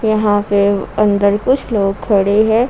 यहां पे अंदर कुछ लोग खड़े हैं।